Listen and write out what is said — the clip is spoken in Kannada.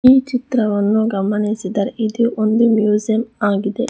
ಈ ಚಿತ್ರವನ್ನು ಗಮನಿಸಿದರೆ ಇದು ಒಂದು ಮ್ಯೂಸಿಯಮ್ ಆಗಿದೆ.